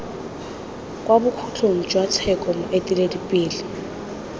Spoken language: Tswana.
kwa bokhutlong jwa tsheko moeteledipele